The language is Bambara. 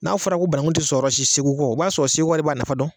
N'a fɔra ko bananku ti sɔrɔ yɔrɔ si segu kɔ, o b'a sɔrɔ segukaw de b'a nafa dɔn